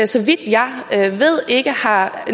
så vidt jeg ved ikke har